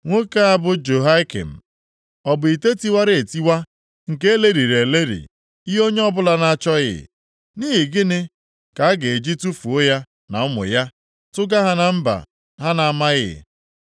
Nwoke a bụ Jehoiakin, ọ bụ ite tiwara etiwa, nke e lelịrị elelị, ihe onye ọbụla na-achọghị? Nʼihi gịnị ka a ga-eji tufuo ya na ụmụ ya, tụga ha na mba ha na-amaghị?